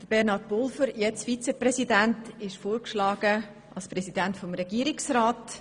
Bernhard Pulver, derzeit Vizepräsident, ist als Regierungspräsident vorgeschlagen.